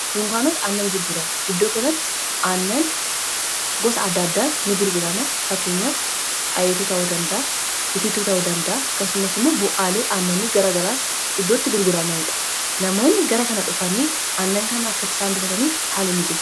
, Dunkaanota annan gurguran iddoo kanatti aannan gosa addaaddaan ni gurgurama. Fakkeenyaaf ayiituu ta'uu danda'aitiittuu ta'u dandaa, akasumas immoo bu'aalee aannanii garagaraa iddootti gurguramaniidha namoonni gara kana dhufanii annan kanaakkaisaan bitataniif haala mijeessa.